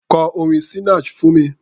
Kọ orin Sinach fún mi!